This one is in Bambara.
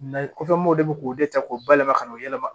kɔfɛ n b'o de k'o de ta k'o bayɛlɛma ka n'o yɛlɛma